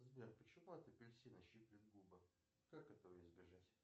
сбер почему от апельсина щиплет губы как этого избежать